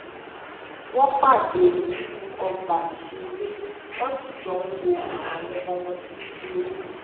wón pàdé nínú ọgbà ìṣeré wón sì jọ ń wo àwọn ọmọ wọn tí ń ṣeré